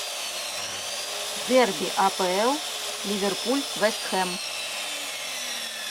дерби апл ливерпуль вест хэм